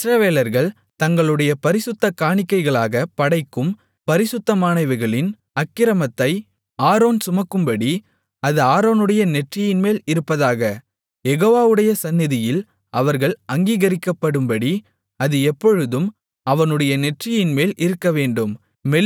இஸ்ரவேலர்கள் தங்களுடைய பரிசுத்த காணிக்கைகளாகப் படைக்கும் பரிசுத்தமானவைகளின் அக்கிரமத்தை ஆரோன் சுமக்கும்படி அது ஆரோனுடைய நெற்றியின்மேல் இருப்பதாக யெகோவாவுடைய சந்நிதியில் அவர்கள் அங்கீகரிக்கப்படும்படி அது எப்பொழுதும் அவனுடைய நெற்றியின்மேல் இருக்கவேண்டும்